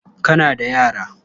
Kana da yara?